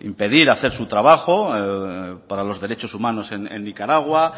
impedir hacer su trabajo para los derechos humanos en nicaragua